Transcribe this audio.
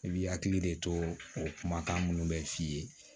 I bi hakili de to o kumakan minnu be f'i ye